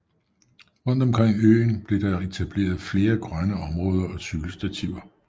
Rundt omkring øen blev der etableret flere grønne områder og cykelstativer